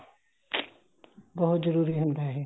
ਬਹੁਤ ਜਰੂਰੀ ਹੁੰਦਾ ਇਹ